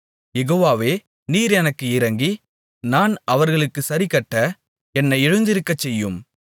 யெகோவாவே நீர் எனக்கு இரங்கி நான் அவர்களுக்குச் சரிக்கட்ட என்னை எழுந்திருக்கச்செய்யும்